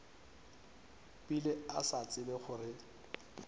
bile a sa tsebe gore